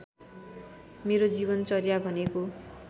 मेरो जीवनचर्या भनेको